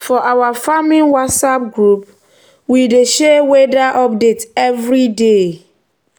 for our farming whatsapp group we dey share weather update every day.